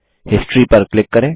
history पर click करें